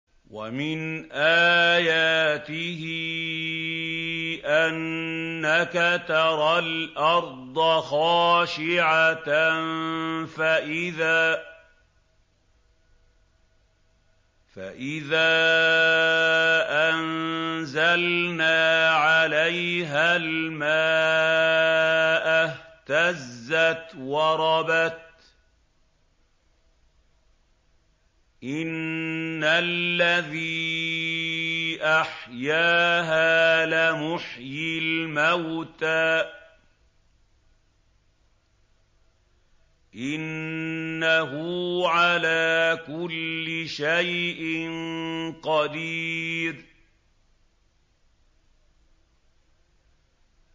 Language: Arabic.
وَمِنْ آيَاتِهِ أَنَّكَ تَرَى الْأَرْضَ خَاشِعَةً فَإِذَا أَنزَلْنَا عَلَيْهَا الْمَاءَ اهْتَزَّتْ وَرَبَتْ ۚ إِنَّ الَّذِي أَحْيَاهَا لَمُحْيِي الْمَوْتَىٰ ۚ إِنَّهُ عَلَىٰ كُلِّ شَيْءٍ قَدِيرٌ